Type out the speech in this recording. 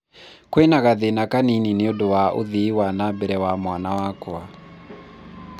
kwĩna gathĩna kanini nĩũndũ wa ũthii wa nambere wa mwana wakwa